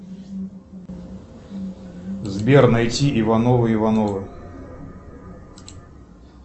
сбер найти ивановы ивановы